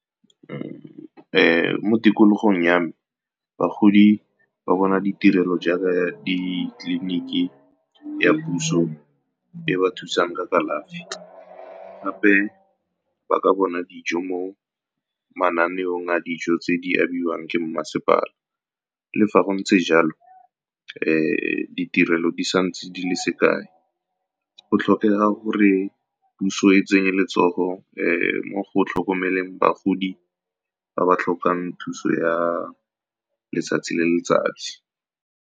Mo tikologong yame, bagodi ba bona ditirelo jaaka ditleliniki ya puso e ba thusang ka kalafi, gape ba ka bona dijo mo mananeong a dijo tse di abiwang ke mmasepala. Le fa go ntse jalo, fa ditirelo di sa ntse di le se kae, go tlhokega gore puso e tsenye letsogo le mo go tlhokomeleng bagodi ba ba tlhokang thuso ya letsatsi le letsatsi.